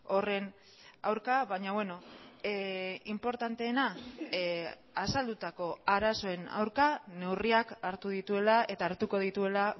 horren aurka baina beno inportanteena azaldutako arazoen aurka neurriak hartu dituela eta hartuko dituela